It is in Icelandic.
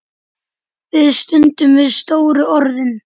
Við stöndum við stóru orðin.